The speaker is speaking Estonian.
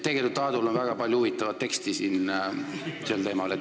Tegelikult Aadul on väga palju huvitavat informatsiooni sel teemal.